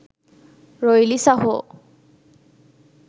රොයිලි සහෝ.